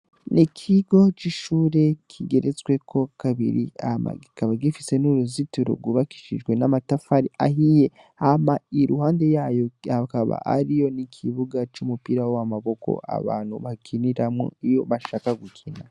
Ni ikigo c'ishure kigeretsweko kabiri kabiri hama kikaba gifise n'uruzitiro rwubakishijwe n'amatafari ahiye. Hama iruhande yayo hakaba hariyo n'ikibuga c'umupira w'amaboko abantu bakiniramwo iyo bashaka gukina.